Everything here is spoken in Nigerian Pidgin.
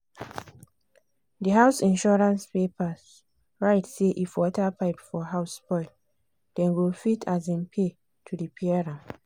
di house insurance paper write say if water pipe for house spoil dem go fit um pay to repair am.